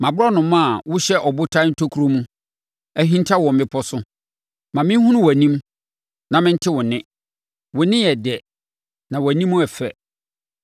Mʼaborɔnoma a wohyɛ abotan ntokuro mu ahinta wɔ mmepɔ so, ma me nhunu wʼanim; ma mente wo nne; wo nne yɛ dɛ, na wʼanim yɛ fɛ.